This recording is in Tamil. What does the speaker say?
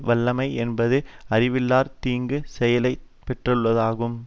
வல்லமை என்பது அறிவிலார் தீங்கு செய்தலைப் பொறுத்தலாகும்